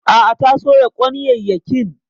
A'a ta soya kwanyayyakin.